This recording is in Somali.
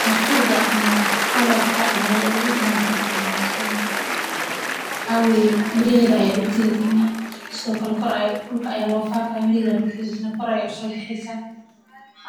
Xirfada ama qalabka aya ogu baahan tahay howshan, waxaa weye miiraheda aya dulka lagalina, sithokale koor dulka aya lo faqaya, miiraheda aya dulka lagalinaya, koor ayey u so baxeysaa,